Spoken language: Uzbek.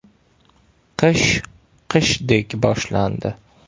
Qish qishdek boshlandi!